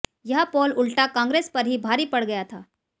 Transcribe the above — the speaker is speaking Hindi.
यह पोल उल्टा कांग्रेस पर ही भारी पड़ गया था